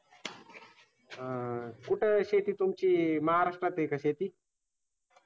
अह कुठे शेती तुमची? महाराष्ट्रातात आहे का शेती?